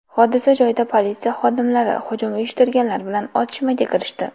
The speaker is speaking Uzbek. Hodisa joyida politsiya xodimlari hujum uyushtirganlar bilan otishmaga kirishdi.